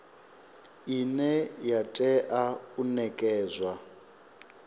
ine ya tea u nekedzwa